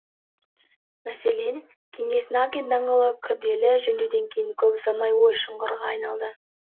мәселен кеңес накин даңғылы күрделі жөндеуден кейін көп ұзамай ой шұқырға айналған